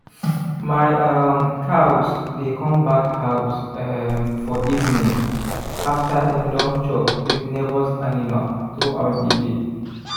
my um cows dey come back house um for evening after dem don chop with neighbours animal through out the day